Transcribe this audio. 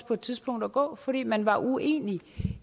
på et tidspunkt at gå fordi man var uenig